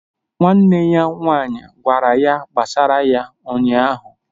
Nwanne ya nwaanyị gwara ya gbasara ya ụnyahụ